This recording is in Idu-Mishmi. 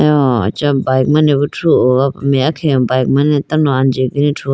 aho acha bike mane bo thruho gapum meya khege bike mane tando anji gine thruho.